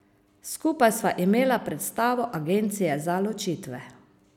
Skupaj sva imela predstavo Agencija za ločitve.